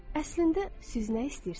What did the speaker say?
Əslində siz nə istəyirsiniz?